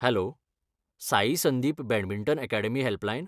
Hello! Sai Sandeep badminton academy helpline.